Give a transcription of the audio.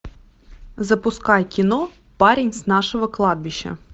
запускай кино парень с нашего кладбища